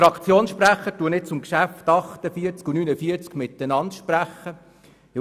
Ich spreche nun zu den Traktandum 48 und 49 gemeinsam.